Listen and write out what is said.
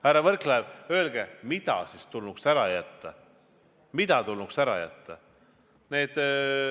Härra Võrklaev, mis siis tulnuks ära jätta?